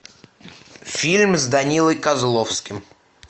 фильм с данилой козловским